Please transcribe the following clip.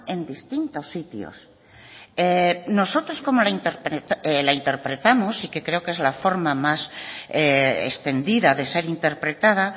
en distintos sitios nosotros como la interpretamos y que creo que es la forma más extendida de ser interpretada